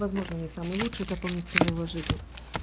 возможно не самый лучший запомнится в его жизни